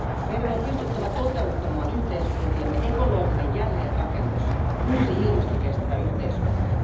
Meidän on pystyttävä toteuttamaan yhteiskuntiemme ekologinen jälleenrakennus, uusi ilmastokestävä yhteiskunta.